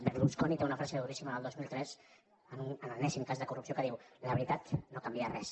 berlusconi té una frase duríssima del dos mil tres en l’enèsim cas de corrupció que diu la veritat no canvia res